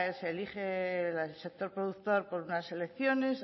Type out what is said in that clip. se elige por el sector productor por unas elecciones